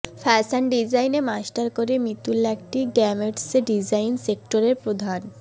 fashion ডিজাইনে masters করে মিতুল এখন একটি গার্মেন্টসে ডিজাইন সেক্টরের প্রধান